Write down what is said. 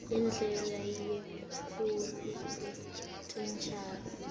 indlela yekukhula kwetitjalo